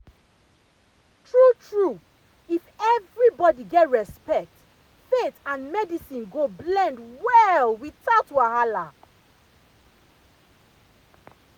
true true if everybody get respect faith and medicine go blend well without wahala.